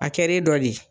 A kɛr'i dɔ di